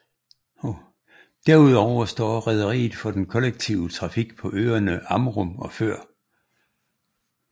Derudover står rederiet for den kollektive trafik på øerne Amrum og Før